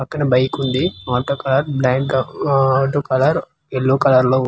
పక్కనే బైక్ ఉంది motor car bank ఉఊ ఆ టూ కలర్ ఎల్లో కలర్ లో.